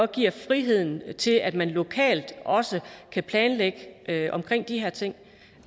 giver friheden til at man lokalt også kan planlægge de her ting